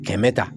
Kɛmɛ ta